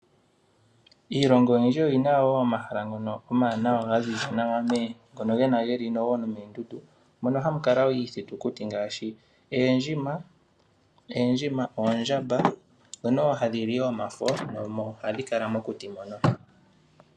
Iilongo oyindji oyina wo omahala ngono omawanawa ga ziza nawa. Ngono geli wo nomoondundu. Mono hamu kala iithitukuti ngaashi, oondjima, oondjamba ,ndhono hadhi li wo omafo noha dhi kala mokuti mono.